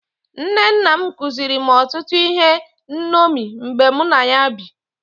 Nne nna m kụziri otụtụ ihe nṅomi mgbe mụ na ya bi.